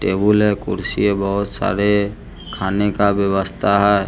Table है कुर्सी है बहोत सारे खाने का व्यवस्था है।